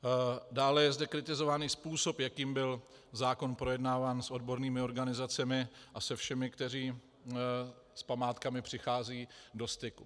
Dále je zde kritizovaný způsob, jakým byl zákon projednáván s odbornými organizacemi a se všemi, kteří s památkami přicházejí do styku.